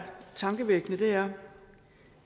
tankevækkende er